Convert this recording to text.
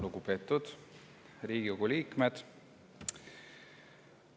Lugupeetud Riigikogu liikmed!